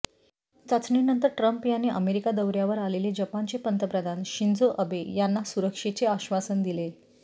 चाचणीनंतर ट्रम्प यांनी अमेरिका दौऱयावर आलेले जपानचे पंतप्रधान शिंजो अबे यांना सुरक्षेचे आश्वासन दिले